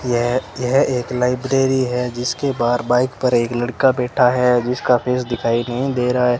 यह एक लाइब्रेरी है जिसके बाहर बाइक पर एक लड़का बैठा है जिसका फेस दिखाई नहीं दे रहा --